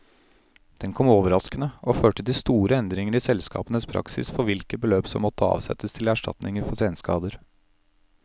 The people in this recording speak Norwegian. Den kom overraskende, og førte til store endringer i selskapenes praksis for hvilke beløp som måtte avsettes til erstatninger for senskader.